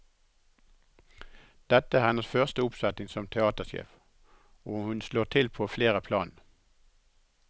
Dette er hennes første oppsetning som teatersjef, og hun slår til på flere plan.